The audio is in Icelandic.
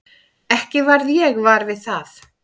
Ekki varð ég var við það.